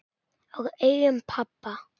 Og augum pabba.